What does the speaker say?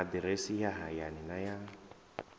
aḓirese ya hayani na ya